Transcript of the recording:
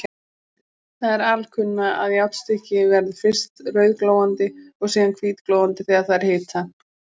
Það er alkunna, að járnstykki verður fyrst rauðglóandi og síðan hvítglóandi þegar það er hitað.